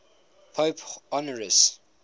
pope honorius